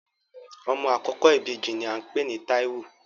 Ọmọ àkọ́kọ́ ìbejì ní à ń pè ní Táíwò